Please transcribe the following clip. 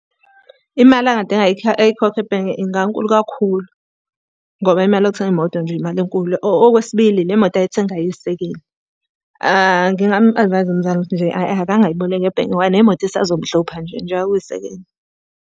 Imali angadinga ayikhokhe ebhenki ingankulu kakhulu, ngoba imali yokuthenga imoto nje imali enkulu. Okwesibili, le moto ayithengayo iyisekeni. Ngingamu-advise-a umzala ukuthi nje akangayiboleki ebhenki, ngoba nemoto isazomhlupha nje njengoba kuyisekeni.